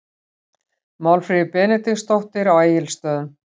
Málfríður Benediktsdóttir á Egilsstöðum